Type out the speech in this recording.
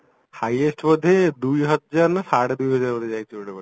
highest ବୋଧେ ଦୁଇ ହଜାର ନା ସାଢେ ଦୁଇ ହଜାର ବୋଧେ ଯାଇଛି ଗୋଟେ